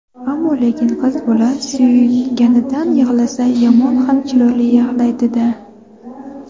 Ammo-lekin qiz bola suyunganidan yig‘lasa yomon ham chiroyli yig‘laydi-da.